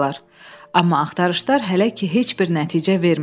Amma axtarışlar hələ ki heç bir nəticə vermirdi.